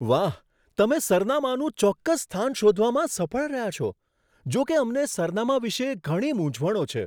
વાહ! તમે સરનામાનું ચોક્કસ સ્થાન શોધવામાં સફળ રહ્યા છો, જો કે અમને સરનામાં વિશે ઘણી મૂંઝવણો છે.